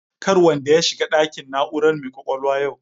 Kar wanda ya shiga ɗakin na'urar mai kwakwalwa yau